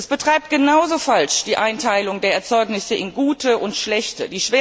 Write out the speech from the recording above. Es betreibt genauso falsch die Einteilung der Erzeugnisse in gute und schlechte.